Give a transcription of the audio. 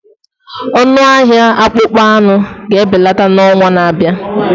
Ọnụ ahịa akpụkpọ anụ ga-ebelata n'ọnwa na-abịa